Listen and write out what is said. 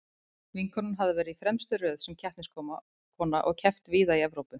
Vinkonan hafði verið í fremstu röð sem keppniskona og keppt víða í Evrópu.